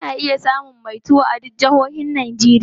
Kuna iya samun iya mai tuwo a duk jahohin Najeriya.